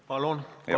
Palun!